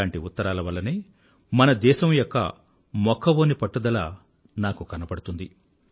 ఇలాంటి ఉత్తరాల వల్లనే మన దేశం యొక్క మొక్కవోనిన పట్టుదల నాకు కనబడుతుంది